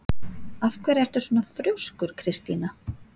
Af hverju ertu svona þrjóskur, Kristína?